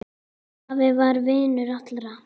Afi var vinur allra.